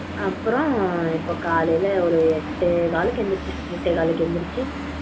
அப்புறம் இப்ப காலையில எட்டு கால்க்கு எந்திரிச்சேன் எட்டே காலுக்கு எந்திரிச்சு இப்ப பாப்போம் அப்படினு சொல்லி